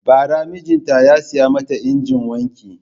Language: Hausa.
Bara mijita ya saya mata injinin wanki.